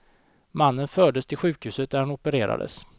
Mannen fördes till sjukhus där han opererades.